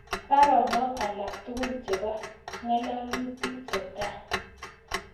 Baronok alaktugul chebo ngalalutik cheta